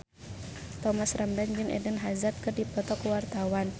Thomas Ramdhan jeung Eden Hazard keur dipoto ku wartawan